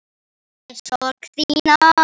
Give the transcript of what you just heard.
Þáði sorg þína.